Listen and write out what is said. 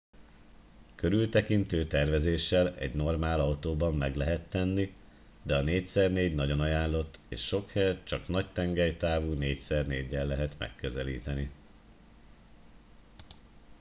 körültekintő tervezéssel egy normál autóban meg lehet tenni de a 4x4 nagyon ajánlott és sok helyet csak nagy tengelytávú 4x4-el lehet megközelíteni